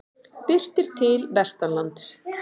Birtir til vestanlands